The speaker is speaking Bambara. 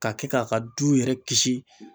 Ka kɛ k'a ka du yɛrɛ kisi